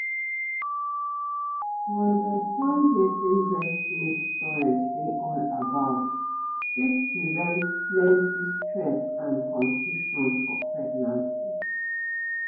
to understand wetin breast milk storage dey all about fit prevent plenty stress and confusion for pregnancy